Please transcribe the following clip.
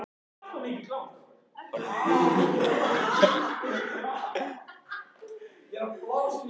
Orðin virðast innlend smíð.